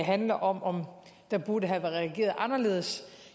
handler om om der burde have været reageret anderledes